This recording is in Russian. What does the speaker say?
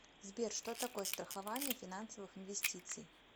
сбер что такое страхование финансовых инвестиций